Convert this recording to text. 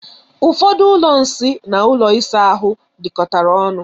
Ụfọdụ ụlọ nsị na ụlọ ịsa ahụ dikọtara ọnu.